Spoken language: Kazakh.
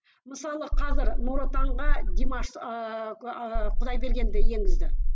мысалы қазір нұр отанға димаш ыыы құдайбергенді енгізді